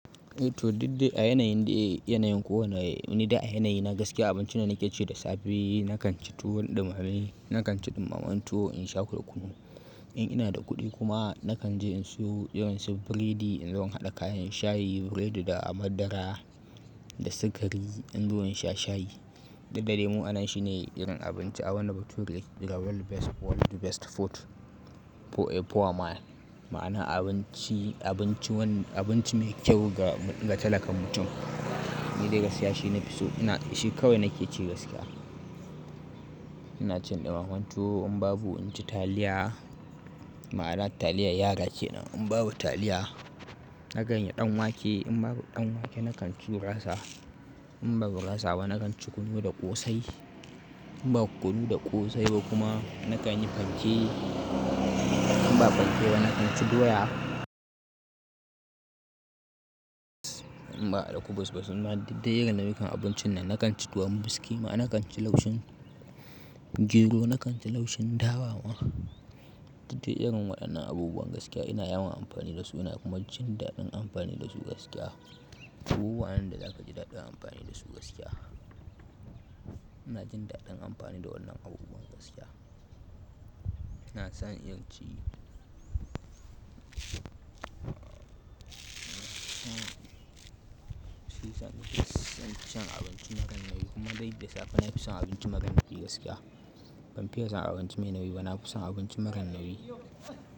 To didde a yanayin da, yanayin kowane, ni da a yanayi na gaskiya abincin da nake ci da safe nakan ci tuwon ɗumame, nakan ci ɗumamen tuwo in sha da kunu. In ina da kuɗi kuma nakan je in siyo, yi wa su biredi in zo in haɗa kayan shayi, biredi da madara da sikari in zo in sha shayi. Dukda dai mu anan shi ne irin abinci a abunda bature daga World Best, World Best Food fo- fo ama, ma'ana abinci, abinci wani, abinci me kyau ga, ga talakan mutum. Ni dai gaskiya shi na fi so ina, shi kawai nake ci gaskiya. Ina cin ɗumamen tuwo in babu in ci taliya. Ma'ana taliyar yara ke nan. In babu taliya, na kan yi ɗan wake. In babu ɗan wake nakan ci gurasa. In babu gurasa ba nakan ci kunu da ƙosai. In babu kunu da ƙosai ba kuma nakan yi fanke. In babu fanke nakan ci doya. In ba alkubus ba suna didde irin na'ikan abincin nan nakan ci tuwon miski ma'ana nakan ci laushin gero, nakan ci laushin dawa ma. Didde irin waɗannan abubuwan gaskiya ina yawan amfani da su ina kuma jin daɗin amfani da su gaskiya. Abubuwa nan da zaka ji daɗin amfani da su gaskiya. Ina jin daɗin amfani da wannan abubuwan gaskiya. Ina son in ci fisan abinci maran nawi kuma dai da safe na fi son abinci maran naki gaskiya. Ban fiya son abinci mai nawi ba, na fi son abinci maran nawi.